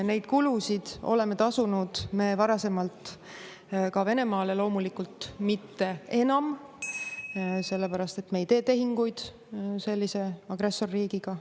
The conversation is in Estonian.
Neid kulusid oleme tasunud me varasemalt ka Venemaale, loomulikult mitte enam, sellepärast et me ei tee tehinguid sellise agressorriigiga.